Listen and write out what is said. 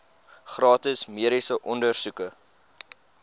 gratis mediese ondersoeke